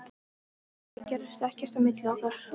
Það gerðist ekkert á milli okkar.